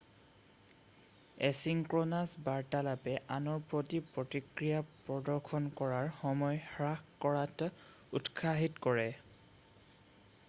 asynchronous বাৰ্তালাপে আনৰ প্ৰতি প্ৰতিক্ৰিয়া প্ৰদৰ্শন কৰাৰ সময় হ্ৰাস কৰাত উৎসাহিত কৰে